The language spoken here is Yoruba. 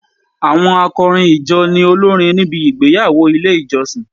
Àwọn akọrin ìjọ ni olórin níbi igbeyawo ilé ìjọsìn.